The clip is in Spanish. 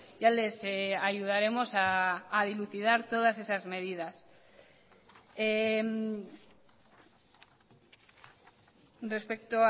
ya les ayudaremos a dilucidar todas esas medidas respecto